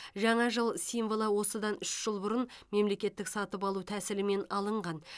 жаңа жыл символы осыдан үш жыл бұрын мемлекеттік сатып алу тәсілімен алынған